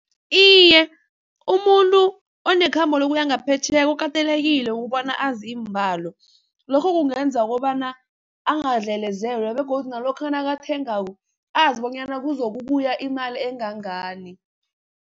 Iye, umuntu onekhambo lokuya ngaphetjheya kukatelekile ukubona azi iimbalo, lokho kungenza ukobana angadlelezelwa begodu nalokha nakathengako azibonyana kuzokubuya imali engangani.